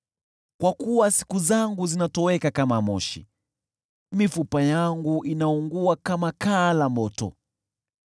Kwa kuwa siku zangu zinatoweka kama moshi, mifupa yangu inaungua kama kaa la moto.